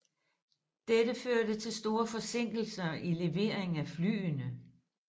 Dette førte til store forsinkelser i levering af flyene